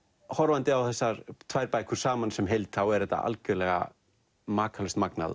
horfandi á þessar tvær bækur saman sem heild er þetta algjörlega makalaust magnað